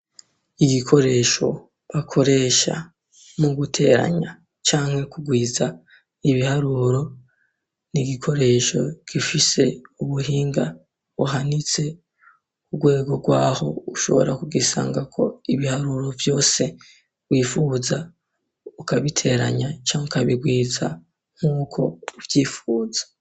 Igikoresho bakoresha mu guteranya canke kugwiza ibiharuro. N'igikoresho gifise ubuhinga buhanitse. Urwego rw'aho, ushobora kugisangako ibiharuro vyose wipfuza ukabiteranya canke ukabigwiza nk'uko uvypfuza.